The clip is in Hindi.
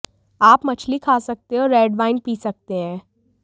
आप मछली खा सकते हैं और रेड वाइन पी सकते हैं